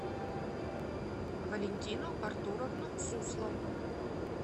валентину артуровну суслову